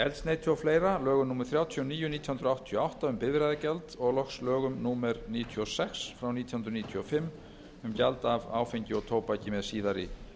eldsneyti og fleiri lögum númer þrjátíu og níu nítján hundruð áttatíu og átta um bifreiðagjald og lögum númer níutíu og sex nítján hundruð níutíu og fimm um gjald af áfengi og tóbaki með síðari